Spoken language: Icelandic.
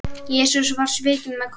Jesús var svikinn með kossi.